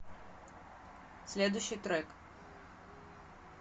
следующий трек